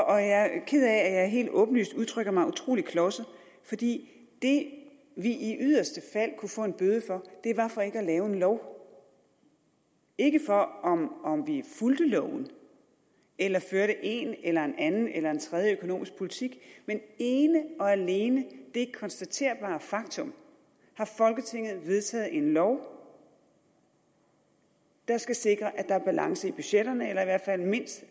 og jeg er ked af at jeg helt åbenlyst udtrykker mig utrolig klodset fordi det vi i yderste fald kunne få en bøde for var for ikke at lave en lov ikke for om om vi fulgte loven eller førte en eller en anden eller en tredje økonomisk politik men ene og alene det konstaterbare faktum har folketinget vedtaget en lov der skal sikre at der er balance i budgetterne